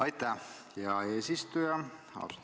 Aitäh, hea eesistuja!